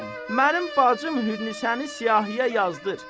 Mənim bacım Hürnisəni siyahıya yazdır.